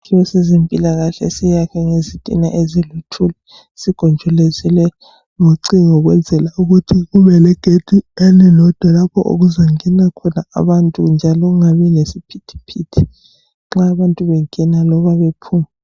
Isakhiwo sezempilakahle siyakhwe ngezitina eziluthuli sigonjolozelwe ngocingo ukwenzela ukuthi kube legedi elilodwa lapho okuzongena khona abantu njalo kungabi lesiphithiphithi nxa abantu bengena loba bephuma.